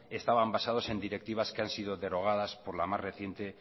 estaban basados en directivas que han sido derogadas por la más reciente